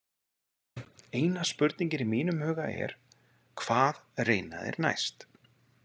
Eina spurningin í mínum huga er: Hvað reyna þeir næst?